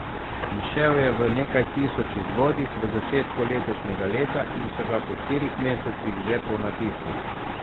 Izšel je v nekaj tisoč izvodih v začetku letošnjega leta in so ga po štirih mesecih že ponatisnili.